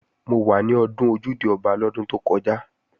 Mo wà ní ọdún Ojúde-Ọba lọ́dún tó kọjá